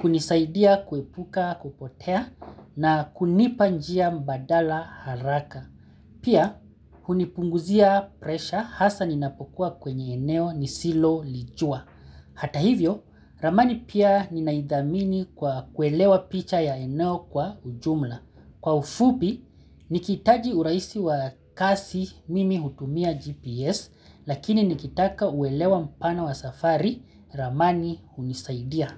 kunisaidia kuepuka kupotea na kunipa njia mbadala haraka. Pia, hunipunguzia presha hasa ninapokuwa kwenye eneo nisilolijua. Hata hivyo, ramani pia ninaidhamini kwa kuelewa picha ya eneo kwa ujumla. Kwa ufupi, nikihitaji uraisi wa kazi mimi hutumia GPS lakini nikitaka uelewa mpana wa safari ramani hunisaidia.